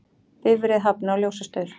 Bifreið hafnaði á ljósastaur